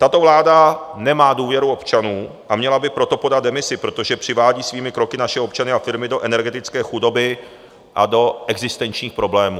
Tato vláda nemá důvěru občanů, a měla by proto podat demisi, protože přivádí svými kroky naše občany a firmy do energetické chudoby a do existenčních problémů.